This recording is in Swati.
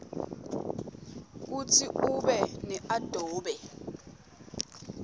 kutsi ube neadobe